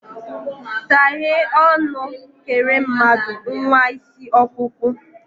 saghe ọnu, kele mmadu, nwa isi okpukpu!